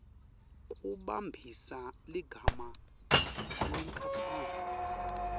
kumbambisa ligama lenkapani